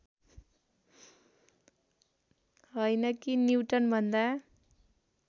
होइन कि न्युटनभन्दा